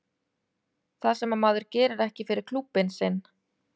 Það sem að maður gerir ekki fyrir klúbbinn sinn.